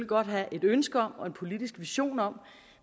godt have et ønske om og en politisk vision om